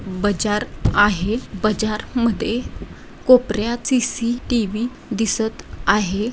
बजार आहे बजार मध्ये कोपर्‍यात सी_सी_टी_वि दिसत आहे.